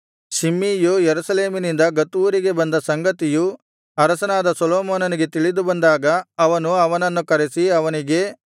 ಶಿಮ್ಮೀಯು ಯೆರೂಸಲೇಮಿನಿಂದ ಗತ್ ಊರಿಗೆ ಬಂದ ಸಂಗತಿಯು ಅರಸನಾದ ಸೊಲೊಮೋನನಿಗೆ ತಿಳಿದುಬಂದಾಗ ಅವನು ಅವನನ್ನು ಕರೆಸಿ ಅವನಿಗೆ